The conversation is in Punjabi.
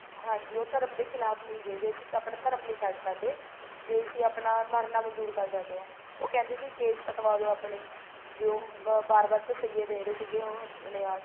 ਹਾਂਜੀ ਉਹ ਧਰਮ ਦੇ ਖਿਲਾਫ਼ ਨਹੀਂ ਗਏ ਵੈਸੇ ਤਾਂ ਉਹ ਆਪਣਾ ਧਰਮ ਨਹੀਂ ਛੱਡ ਸਕਦੇ ਵੀ ਅਸੀਂ ਆਪਣਾ ਮਰਨਾ ਮਨਜੂਰ ਕਰ ਸਕਦੇ ਹਾਂ ਉਹ ਕਹਿੰਦੇ ਸੀ ਕੇਸ ਕੱਟਵਾ ਦੋ ਆਪਣੇ ਵੀ ਉਹ ਬਾਰ ਬਾਰ ਤਸੀਏ ਦੇ ਰਹੇ ਸੀਗੇ ਉਹ ਆਪਣੇ ਆਪ